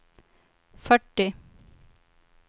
fyrtio